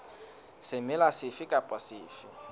semela sefe kapa sefe se